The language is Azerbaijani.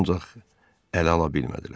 Ancaq ələ ala bilmədilər.